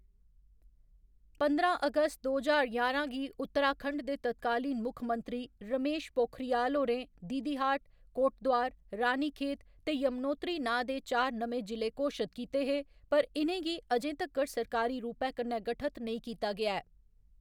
पंदरां अगस्त दो ज्हार ञारां गी उत्तराखंड दे तत्कालीन मुक्खमंत्री रमेश पोखरियाल होरें दीदीहाट, कोटद्वार, रानीखेत ते यमुनोत्री नांऽ दे चार नमें जि'ले घोशत कीते हे, पर इ'नें गी अजें तक्कर सरकारी रूपै कन्नै गठत नेईं कीता गेआ ऐ।